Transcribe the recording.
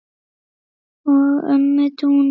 og ömmu Dúnu.